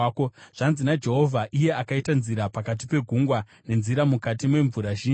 Zvanzi naJehovha, iye akaita nzira pakati pegungwa, nenzira mukati memvura zhinji,